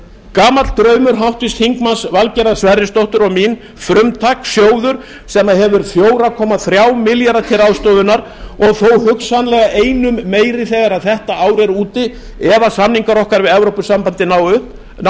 gamall draumur háttvirts þingmanns valgerðar sverrisdóttur og mín frumtakssjóður sem hefur fjóra komma þrjá milljarða til ráðstöfunar og þó hugsanlega einum meiri þegar þetta ár er úti ef samningar okkar við evrópusambandið ná